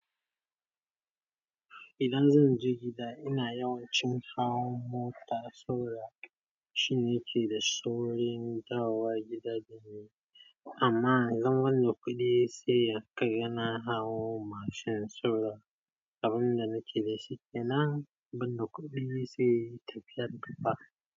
Idan zan je gida, ina yawan cin hawan mota saboda. Shi ne ke da saurin dawo gida da ni, amma idan ban da kuɗi sai haka yana hawo mashin sauka. Abin da nake da shi kenan ban da kuɗi, sai nayi tafiyar kafa.